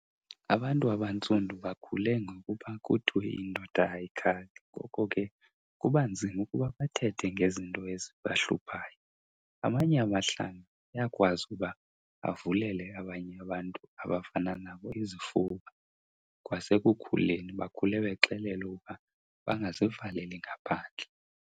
Abantu abantsundu bakhule ngokuba kuthiwe indoda ayikhali ngoko ke kuba nzima ukuba bathethe ngezinto ezibahluphayo. Amanye amahlanga ayakwazi ukuba avulele abanye abantu abafana nabo izifuba, kwasekukhuleni bakhule bexelelwa uba bangazivaleli ngaphandle.